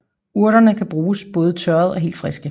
Urterne kan bruges både tørrede og helt friske